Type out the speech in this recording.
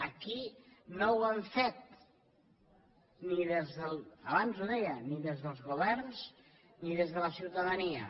aquí no ho hem fet abans ho deia ni des dels governs ni des de la ciutadania